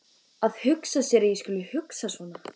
Að hugsa sér að ég skuli hugsa svona!